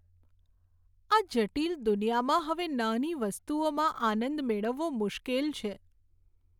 આ જટિલ દુનિયામાં હવે નાની વસ્તુઓમાં આનંદ મેળવવો મુશ્કેલ છે.